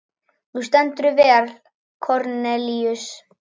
Þú stendur þig vel, Kornelíus!